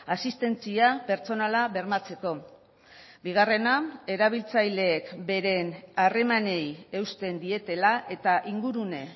asistentzia pertsonala bermatzeko bigarrena erabiltzaileek beren harremanei eusten dietela eta ingurune